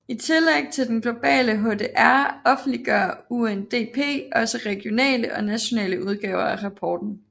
I tillæg til den globale HDR offentliggør UNDP også regionale og nationale udgaver af rapporten